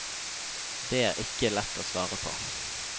Det er ikke lett å svare på.